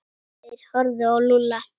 Þeir horfðu á Lúlla.